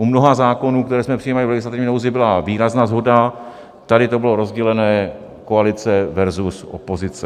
U mnoha zákonů, které jsme přijímali v legislativní nouzi, byla výrazná shoda, tady to bylo rozdělené koalice versus opozice.